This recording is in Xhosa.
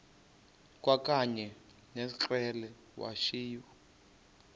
kwakanye ngekrele wayishu